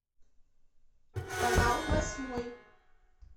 канал восьмой